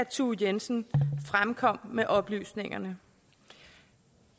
thue jensen fremkom med oplysningerne